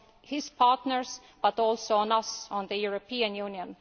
its partners, but also on us, the European Union.